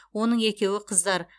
оның екеуі қыздар